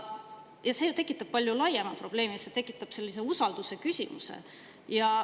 Ja see ju tekitab palju laiema probleemi, see tekitab usalduse küsimuse.